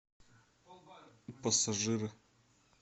пассажиры